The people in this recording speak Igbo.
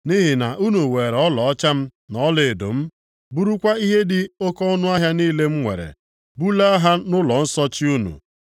Nʼihi na unu weere ọlaọcha m na ọlaedo m, burukwa ihe dị oke ọnụahịa niile m nwere, bulaa ha nʼụlọnsọ chi + 3:5 Maọbụ, ụlọ ukwu unu unu.